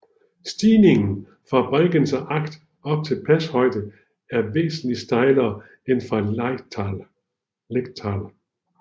Stigningen fra Bregenzer Ach op til pashøjde er væsentligt stejlere end fra Lechtal